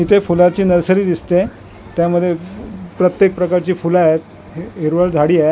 इथे फुलाची नर्सरी दिसते त्यामध्ये प्रत्येक प्रकारची फुलं आहेत हि हिरवळ झाडी आहे .